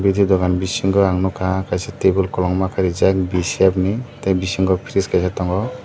biti dongan bisingo ang nahurka kaisa tabul kologma ke reejak besap ni tai bisingo frees kaisa tongo.